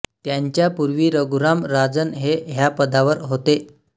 त्यांच्या पूर्वी रघुराम राजन हे ह्या पदावर होते